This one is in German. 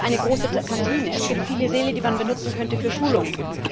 Es gibt eine große Kantine, es gibt viele Säle, die man benutzen könnte für Schulungen.